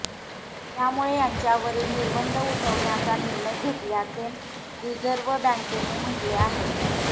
त्यामुळे त्यांच्यावरील निर्बंध उठवण्याचा निर्णय घेतल्याचे रिझर्व्ह बँकेने म्हटले आहे